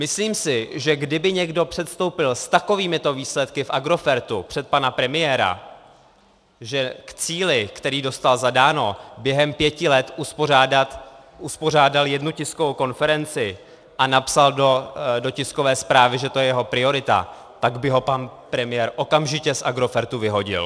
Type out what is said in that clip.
Myslím si, že kdyby někdo předstoupil s takovýmito výsledky v Agrofertu před pana premiéra, že k cíli, který dostal zadán, během pěti let uspořádal jednu tiskovou konferenci a napsal do tiskové zprávy, že to je jeho priorita, tak by ho pan premiér okamžitě z Agrofertu vyhodil.